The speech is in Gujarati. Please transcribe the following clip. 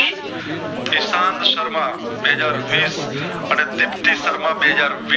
દિશાત શર્મા બે હાજર વિસ અને દીપ્તિ શર્મા બેહજાર